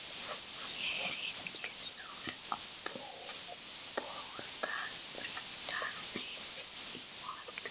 Ég hringdi suður á Borgarspítalann í morgun.